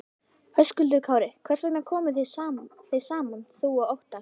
Höskuldur Kári: Hvers vegna komuð þið saman þú og Óttarr?